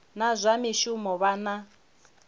na zwa mishumo vha na